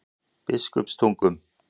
Biskupstungum